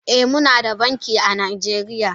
Eh Munada banki a najeriya.